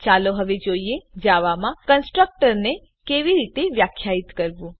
ચાલો હવે જોઈએ જાવામાં કન્સ્ટ્રક્ટર ને કેવી રીતે વ્યાખ્યાયિત કરવું